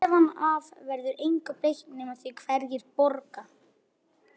Karma, hvaða leikir eru í kvöld?